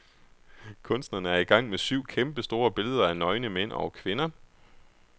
Kunstnerne er i gang med syv kæmpestore billeder af nøgne, mænd og kvinder.